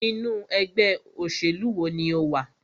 Inú ẹgbẹ́ òṣèlú wo ní o wà?